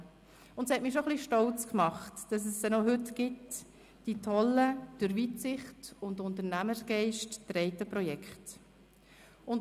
Es hat mich schon ein bisschen stolz gemacht, dass es sie noch heute gibt, die grossartigen, durch Weitsicht und Unternehmergeist getragenen Projekte.